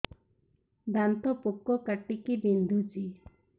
ଦାନ୍ତ ପୋକ କାଟିକି ବିନ୍ଧୁଛି